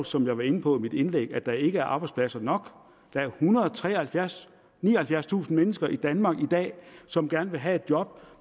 som jeg var inde på i mit indlæg at der ikke er arbejdspladser nok der er ethundrede og nioghalvfjerdstusind mennesker i danmark i dag som gerne vil have et job